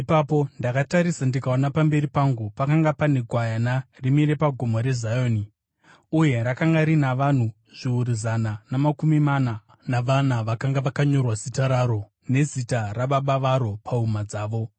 Ipapo ndakatarisa, ndikaona pamberi pangu pakanga pane Gwayana, rimire paGomo reZioni, uye rakanga rina vanhu zviuru zana namakumi mana navana vakanga vakanyorwa zita raro nezita raBaba varo pahuma dzavo.